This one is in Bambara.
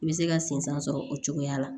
I bɛ se ka sen san sɔrɔ o cogoya la